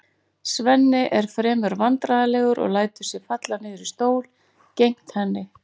Svenni er fremur vandræðalegur og lætur sig falla niður í stól gegnt henni.